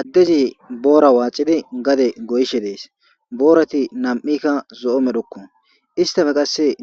Addezi boora waaxidi gade goyishe dees boorati nam'ikka zo'o medhoko isttape